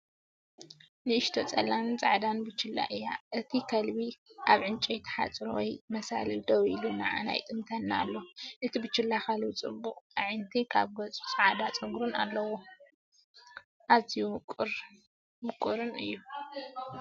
ንእሽቶ ጸላምን ጻዕዳን ቡችላ እያ። እቲ ከልቢ ኣብ ዕንጨይቲ ሓጹር ወይ መሳልል ደው ኢሉ ንዓና ይጥምተና ኣሎ። እቲ ቡችላ/ከልቢ ጽቡቓት ኣዒንቲን ኣብ ገጹ ጻዕዳ ጸጉርን ኣለዎ። ኣዝዩ ምቁርን ምቁርን እዩ።